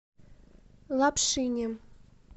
лапшине